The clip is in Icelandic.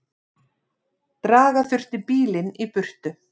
Draga þurfti bílinn í burtu.